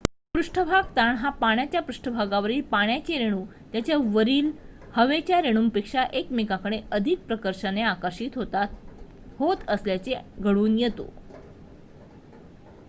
पृष्ठभाग ताण हा पाण्याच्या पृष्ठभागावरील पाण्याचे रेणू त्यांच्या वरील हवेच्या रेणूंपेक्षा एकमेकांकडे अधिक प्रकर्षाने आकर्षित होत असल्याने घडून येतो